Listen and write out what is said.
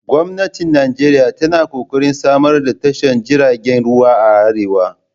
Gwamnati Nijeriya tana ƙoƙarin samar da tashar jiragen ruwan a arewa